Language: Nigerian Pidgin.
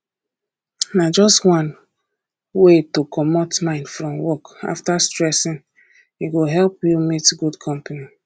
na just one wey to comot mind from work after stressing e go help you meet good company